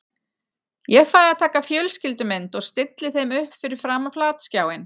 Ég fæ að taka fjölskyldumynd og stilli þeim upp fyrir framan flatskjáinn.